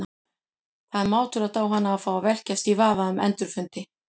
Það er mátulegt á hana að fá að velkjast í vafa um endurfundi.